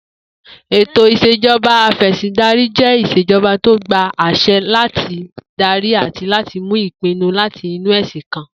Ètò ìs̩ejo̩ba afè̩sìndarí jé ìs̩ejo̩ba tó gba às̩e̩ láti darí àti láti mú ìpinu láti inú è̩sìn kan